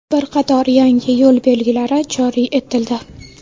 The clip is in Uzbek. Bir qator yangi yo‘l belgilari joriy etildi.